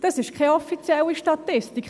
«Das ist keine offizielle Statistik.